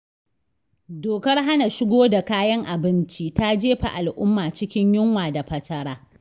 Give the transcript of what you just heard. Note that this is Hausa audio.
Dokar hana shigo da kayan abinci ta jefa alumma cikin yunwa da fatara.